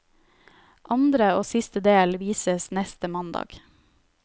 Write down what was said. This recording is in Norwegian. Andre og siste del vises neste mandag.